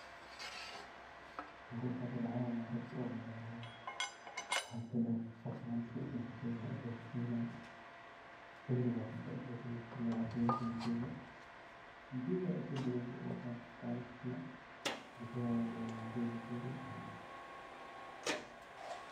Waxan ku qexi lahaa rag manta kulii suu usoo shaqeynaye oo xiliga cuntada marki lajogo sofariste. Jawi iska dagan wakaa kamaqasno ,cunta ayey donayan.